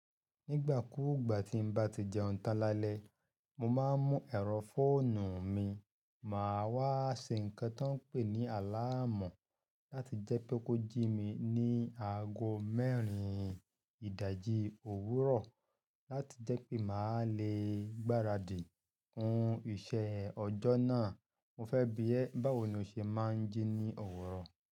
Nígbà kúùgbà tí n bá ti jẹun tán lálẹ́, mo máa ń mú ẹ̀rọ fóònù mi, màá wá ṣe ǹkan tó ń pè ní àláàmọ́ láti jẹ́ pé kó jí mi ní aago mẹ́rin ìdájí òwúrọ̀ láti jẹ́ pé màá le gbaradì fún iṣẹ́ ọjọ́ náà. Mo fẹ́ bi ẹ báwo ni o ṣe máa ń jí ní òwúrọ̀.